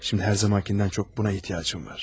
İndi hər zamankindən çox buna ehtiyacım var.